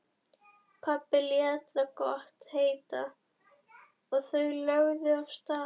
Pabbi lét það gott heita og þau lögðu af stað.